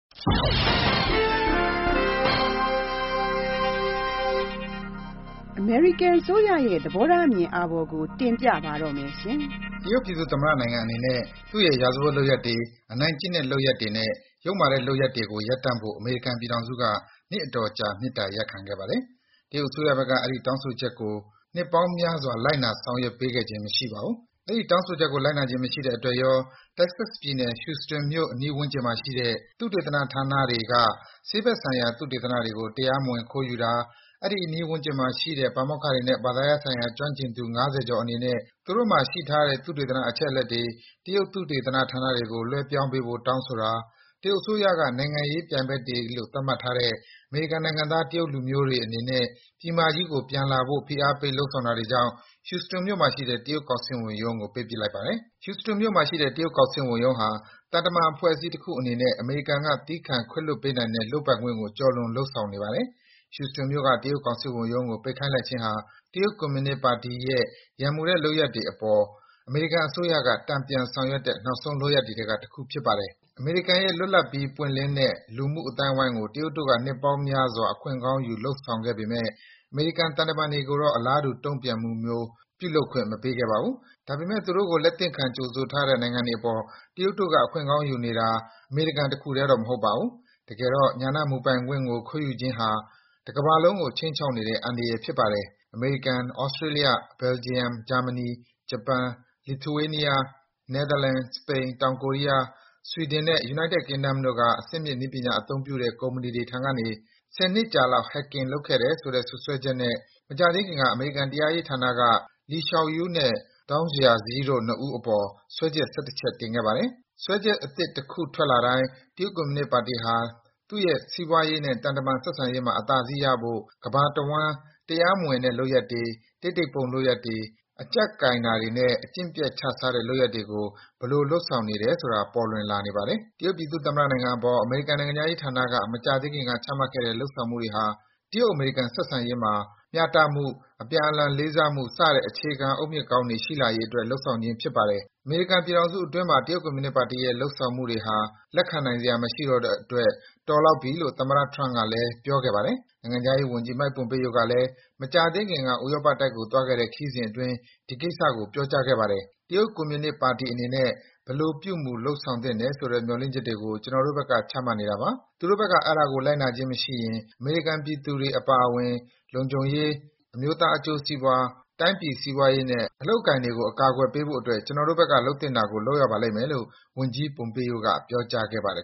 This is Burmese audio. အမေရိကန်အစိုးရရဲ့ သဘောထားအမြင်အာဘော်ကို တင်ပြပါမယ်။ တရုတ်ပြည်သူ့သမ္မတနိုင်ငံအနေနဲ့ သူ့ရဲ့ ရာဇဝတ်လုပ်ရပ်တွေ၊ အနိုင်ကျင့်တဲ့လုပ်ရပ်တွေနဲ့ ယုတ်မာတဲ့ လုပ်ရပ်တွေကို ရပ်တန့်ဖို့ အမေရိကန် ပြည်ထောင်စုက နှစ်အတော်ကြာ မေတ္တာရပ်ခံခဲ့ပါတယ်။ တရုတ်အစိုးရဘက်က အဲဒီ တောင်းဆိုချက်ကို နှစ်ပေါင်းများစွာ လိုက်နာ ဆောင်ရွက်ပေးခြင်း မရှိခဲ့ပါဘူး။ အဲဒီ တောင်းဆိုချက်ကို လိုက်နာခြင်းမရှိတဲ့အတွက်ရော၊ Texas ပြည်နယ်၊ Houston မြို့ အနီးဝန်းကျင်မှာရှိတဲ့ သုတေသနဌာနတွေက ဆေးဘက်ဆိုင်ရာ သုတေသနတွေကို တရားမဝင် ခိုးယူတာ၊ အဲဒီ အနီးဝန်းကျင်မှာရှိတဲ့ ပါမောက္ခတွေနဲ့ ဘာသာရပ်ဆိုင်ရာ ကျွမ်းကျင်သူ ၅၀ ကျော်အနေနဲ့ သူတို့မှာရှိထားတဲ့ သုတေသနအချက်အလက်တွေ တရုတ် သုတေသနဌာနတွေကို လွဲပြောင်းပေးဖို့ တောင်းဆိုတာ၊ တရုတ်အစိုးရက နိုင်ငံရေးပြိုင်ဘက်တွေလို့ သတ်မှတ်ထားတဲ့ အမေရိကန်နိုင်ငံသား တရုတ်လူမျိုးတွေအနေနဲ့ ပြည်မကြီးကို ပြန်လာဖို့ ဖိအားပေး လုပ်ဆောင်တာတွေကြောင့် Houston မြို့မှာရှိတဲ့ တရုတ်ကောင်စစ်ဝန်ရုံးကို ပိတ်ပစ်လိုက်ပါတယ်။ Houston မြို့မှာရှိတဲ့ တရုတ်ကောင်စစ်ဝန်ရုံးဟာ သံတမန်အဖွဲ့အစည်းတခုအနေနဲ့ အမေရိကန်က သည်းခံ ခွင့်လွတ်ပေးနိုင်တဲ့ လုပ်ပိုင်ခွင့်ကို ကျော်လွန် လုပ်ဆောင်နေပါတယ်။ Houston မြို့က တရုတ်ကောင်စစ်ဝန်ရုံးကို ပိတ်ခိုင်းလိုက်ခြင်းဟာ တရုတ် ကွန်မြူနစ်ပါတီရဲ့ ရန်မူတဲ့ လုပ်ရပ်တွေအပေါ် အမေရိကန်အစိုးရက တန်ပြန်ဆောင်ရွက်တဲ့ နောက်ဆုံး လုပ်ရပ်တွေထဲက တခုဖြစ်ပါတယ်။ အမေရိကန်ရဲ့ လွတ်လပ်ပြီး ပွင့်လင်းတဲ့ လူမှုအသိုင်းဝိုင်းကို တရုတ်တို့က နှစ်ပေါင်းများစွာ အခွင့်ကောင်းယူ လုပ်ဆောင်ခဲ့ပေမယ့် အမေရိကန် သံတမန်တွေကိုတော့ အလားတူ တုံ့ပြန်မှုမျိုး ပြုလုပ်ခွင့် မပေးခဲ့ပါဘူး။ ဒါပေမယ့် သူတို့ကို လက်သင့်ခံ ကြိုဆိုထားတဲ့ တိုင်းပြည်တွေပေါ် တရုတ်တို့က အခွင့်ကောင်းယူနေတာ အမေရိကန်တခုထဲတော့ မဟုတ်ပါဘူး။ တကယ်တော့ ဉာဏမူပိုင်ခွင့်ကို ခိုးယူခြင်းဟာ တကမ္ဘာလုံးကို ခြိမ်းနေတဲ့ အန္တရာယ်ဖြစ်ပါတယ်။ အမေရိကန်၊ သြစတေးလျ၊ ဘယ်လ်ဂျီယံ၊ ဂျာမနီ၊ ဂျပန်၊ Lithuania ၊ နယ်သာလန်၊ စပိန်၊ တောင်ကိုရီးယား၊ ဆွီဒင်နဲ့ United Kingdom တို့က အဆင့်မြင့်နည်းပညာအသုံးပြုတဲ့ ကုမ္ပဏီတွေထံကနေ ၁၀ နှစ်ကြာလောက် Hacking လုပ်တယ်ဆိုတဲ့ စွပ်စွဲချက် မကြာသေးခင်က အမေရိကန် တရားရေးဌာနက Li Xiaoyu နဲ့ Dong Jiazhi တို့ ၂ ဦးအပေါ် စွဲချက် ၁၁ ချက် တင်ခဲ့ပါတယ်။ စွဲချက်အသစ် တခုထွက်လာတိုင်း တရုတ်ကွန်မြူနစ်ပါတီဟာ သူ့ရဲ့ စီးပွားရေးနဲ့ သံတမန် ဆက်ဆံရေးမှာ အသာစီးရနိုင်ဖို့ ကမ္ဘာတဝှမ်း တရားမဝင်တဲ့လုပ်ရပ်တွေ၊ တိတ်တိတ်ပုန်းလုပ်ရပ်တွေ၊ အကြပ်ကိုင်တာတွေနဲ့ အကျင့်ပျက်ခြစားတဲ့လုပ်ရပ်တွေကို ဘယ်လို လုပ်ဆောင်နေတယ်ဆိုတာ ပေါ်လွင်လာနေပါတယ်။ တရုတ်ပြည်သူ့သမ္မတနိုင်ငံအပေါ် အမေရိကန်နိုင်ငံခြားရေးဌာနက မကြာသေးခင်က ချမှတ်ခဲ့တဲ့ လုပ်ဆောင်မှုတွေဟာ တရုတ်-အမေရိကန် ဆက်ဆံရေးမှာ မျှတမှု၊ အပြန်အလှန် လေးစားမှု စတဲ့ အခြေခံအုတ်မြစ်ကောင်းတွေ ရှိလာရေးအတွက် လုပ်ဆောင်ခြင်း ဖြစ်ပါတယ်။ အမေရိကန်ပြည်ထောင်စုအတွင်းမှာ တရုတ်ကွန်မြူနစ်ပါတီရဲ့ လုပ်ဆောင်မှုတွေဟာ လက်ခံနိုင်စရာမရှိတဲ့အတွက် “တော်လောက်ပြီ” လို့ သမ္မတ Trump ကလည်း ပြောကြားခဲ့ပါတယ်။ နိုင်ငံခြားရေးဝန်ကြီး Mike Pompeo ကလည်း မကြာသေးခင်က ဥရောပတိုက်ကို သွားခဲ့တဲ့ ခရီးစဉ်အတွင်း ဒီကိစ္စကို ပြောကြားခဲ့ပါတယ်။ “တရုတ်ကွန်မြူနစ်ပါတီအနေနဲ့ ဘယ်လို ပြုမူ လုပ်ဆောင်သင့်တယ်ဆိုတ မျှော်လင့်ချက်တွေကို ကျနော်တို့ဘက် ချမှတ်နေတာပါ၊ သူတို့ဘက်က အဲဒါကို လိုက်နာခြင်းမရှိရင် အမေရိကန်ပြည်သူတွေ အပါအဝင် လုံခြုံရေး၊ အမျိုးသားအကျိုးစီးပွား၊ တိုင်းပြည်စီးပွားရေးနဲ့ အလုပ်အကိုင်တွေကို အကာကွယ်ပေးဖို့အတွက် ကျနော်တို့ဘက်က လုပ်သင့်တာကို လုပ်ရပါလိမ့်မယ်” လို့ ဝန်ကြီး Pompeo က ပြောကြားခဲ့ပါတယ်